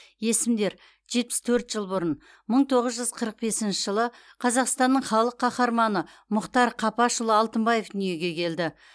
есімдер жетпіс төрт жыл бұрын мың тоғыз жүз қырық бесінші жылы қазақстанның халық қаһарманы мұхтар қапашұлы алтынбаев дүниеге келді